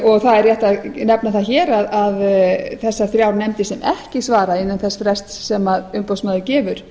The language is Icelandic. og það er rétt að nefna það hér að þessar þrjár nefndir sem ekki svara innan þess frests sem umboðsmaður gefur